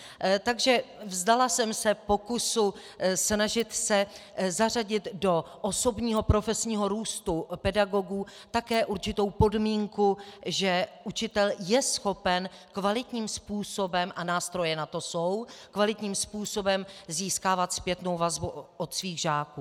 Takže vzdala jsem se pokusu snažit se zařadit do osobního profesního růstu pedagogů také určitou podmínku, že učitel je schopen kvalitním způsobem - a nástroje na to jsou - kvalitním způsobem získávat zpětnou vazbu od svých žáků.